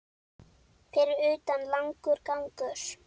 Fyrir utan langur gangur.